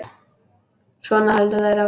Svona héldu þær áfram.